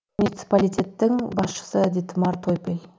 муниципалитеттің басшысы дитмар тойпель